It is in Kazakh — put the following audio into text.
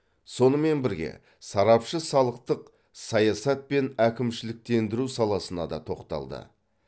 сонымен бірге сарапшы салықтық саясат пен әкімшіліктендіру саласына да тоқталды